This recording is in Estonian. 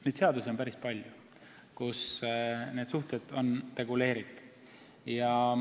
Neid seadusi on päris palju, kus need suhted on reguleeritud.